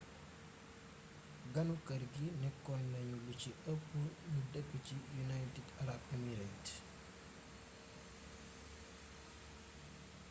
ganu kër gi nékkonañu lu ci ëpp ñu dëkk ci united arab emirates